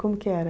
Como que era?